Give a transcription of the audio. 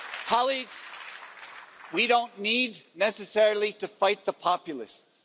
Colleagues, we don't need necessarily to fight the populists.